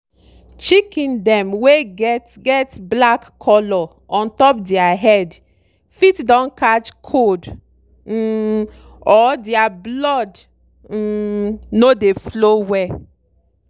chicken dem wey get get black color ontop dere head fit don catch cold um or dere blood um no dey flow well.